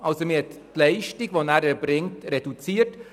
Man hat also Leistungen reduziert.